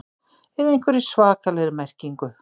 ið einhverri svakalegri merkingu.